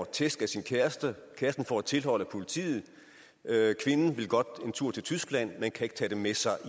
tæsk af sin kæreste kæresten får et tilhold af politiet kvinden vil godt en tur til tyskland men kan ikke tage det med sig